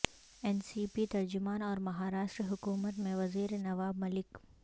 N C P ترجمان اور مہاراشٹر حکومت میں وزیر نواب ملک